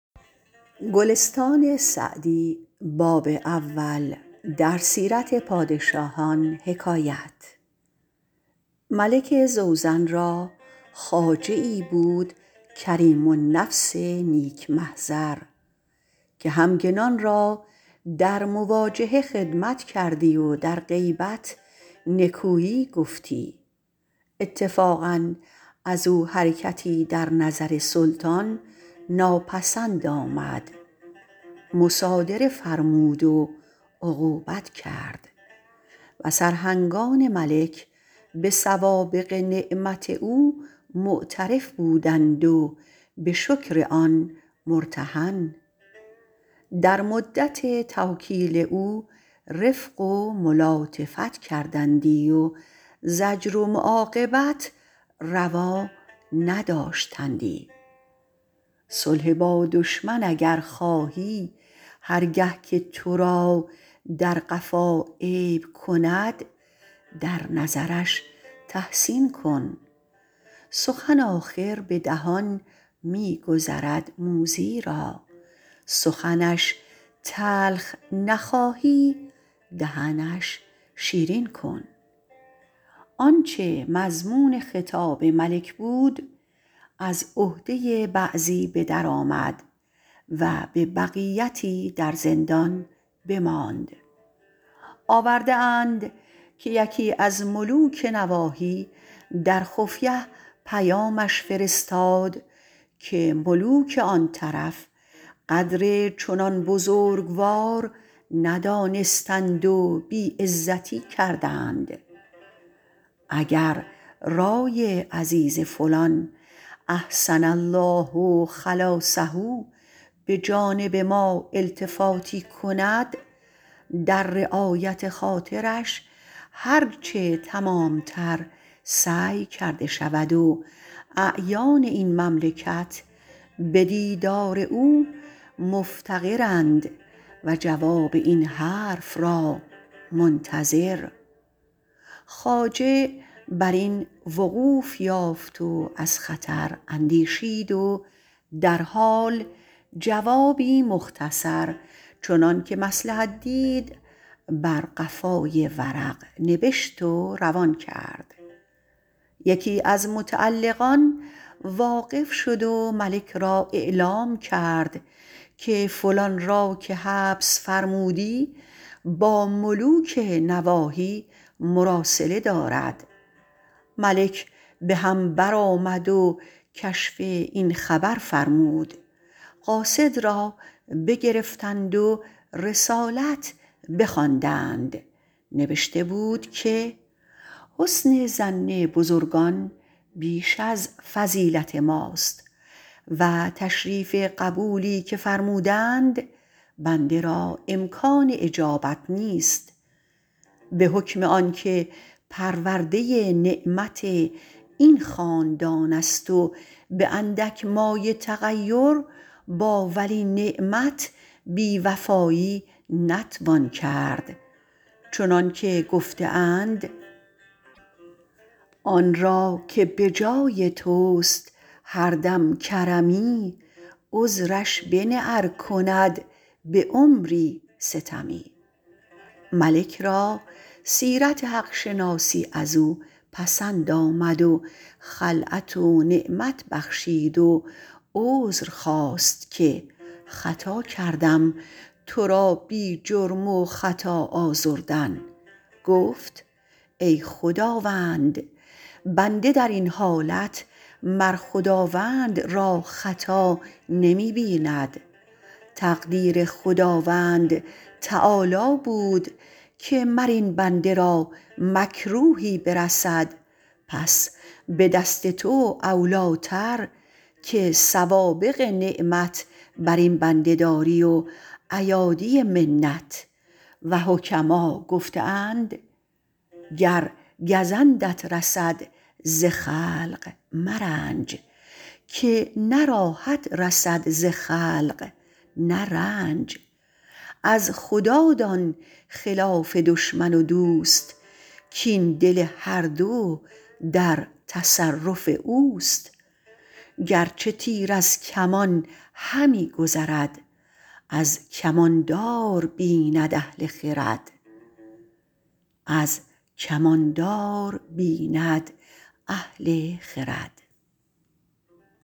ملک زوزن را خواجه ای بود کریم النفس نیک محضر که همگنان را در مواجهه خدمت کردی و در غیبت نکویی گفتی اتفاقا از او حرکتی در نظر سلطان ناپسند آمد مصادره فرمود و عقوبت کرد و سرهنگان ملک به سوابق نعمت او معترف بودند و به شکر آن مرتهن در مدت توکیل او رفق و ملاطفت کردندی و زجر و معاقبت روا نداشتندی صلح با دشمن اگر خواهی هر گه که تو را در قفا عیب کند در نظرش تحسین کن سخن آخر به دهان می گذرد موذی را سخنش تلخ نخواهی دهنش شیرین کن آنچه مضمون خطاب ملک بود از عهده بعضی به در آمد و به بقیتی در زندان بماند آورده اند که یکی از ملوک نواحی در خفیه پیامش فرستاد که ملوک آن طرف قدر چنان بزرگوار ندانستند و بی عزتی کردند اگر رای عزیز فلان احسن الله خلاصه به جانب ما التفاتی کند در رعایت خاطرش هر چه تمام تر سعی کرده شود و اعیان این مملکت به دیدار او مفتقرند و جواب این حرف را منتظر خواجه بر این وقوف یافت و از خطر اندیشید و در حال جوابی مختصر چنان که مصلحت دید بر قفای ورق نبشت و روان کرد یکی از متعلقان واقف شد و ملک را اعلام کرد که فلان را که حبس فرمودی با ملوک نواحی مراسله دارد ملک به هم برآمد و کشف این خبر فرمود قاصد را بگرفتند و رسالت بخواندند نبشته بود که حسن ظن بزرگان بیش از فضیلت ماست و تشریف قبولی که فرمودند بنده را امکان اجابت نیست به حکم آن که پرورده نعمت این خاندان است و به اندک مایه تغیر با ولی نعمت بی وفایی نتوان کرد چنان که گفته اند آن را که به جای توست هر دم کرمی عذرش بنه ار کند به عمری ستمی ملک را سیرت حق شناسی از او پسند آمد و خلعت و نعمت بخشید و عذر خواست که خطا کردم تو را بی جرم و خطا آزردن گفت ای خداوند بنده در این حالت مر خداوند را خطا نمی بیند تقدیر خداوند تعالیٰ بود که مر این بنده را مکروهی برسد پس به دست تو اولی ٰتر که سوابق نعمت بر این بنده داری و ایادی منت و حکما گفته اند گر گزندت رسد ز خلق مرنج که نه راحت رسد ز خلق نه رنج از خدا دان خلاف دشمن و دوست کاین دل هر دو در تصرف اوست گرچه تیر از کمان همی گذرد از کمان دار بیند اهل خرد